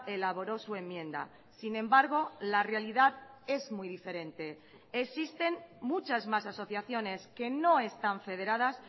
elaboró su enmienda sin embargo la realidad es muy diferente existen muchas más asociaciones que no están federadas